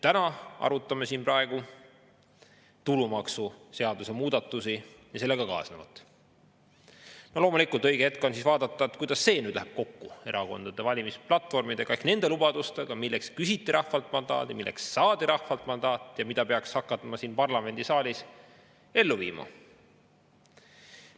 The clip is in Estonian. Praegu arutame siin tulumaksuseaduse muudatusi ja sellega kaasnevat ning loomulikult on õige hetk vaadata, kuidas see läheb kokku erakondade valimisplatvormidega ehk nende lubadustega, milleks küsiti rahvalt mandaati ning milleks saadi mandaat, mida peaks hakkama siin parlamendisaalis ellu viima.